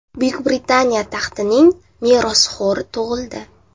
Buyuk Britaniya taxtining merosxo‘ri tug‘ildi.